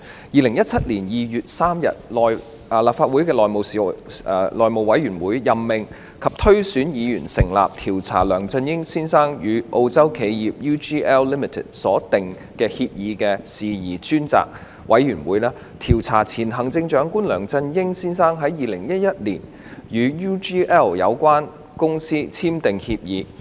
2017年2月3日，立法會內務委員會任命及推選議員成立調查梁振英先生與澳洲企業 UGL Limited 所訂協議的事宜專責委員會，調查前行政長官梁振英先生在2011年與 UGL Limited 簽訂協議的事宜。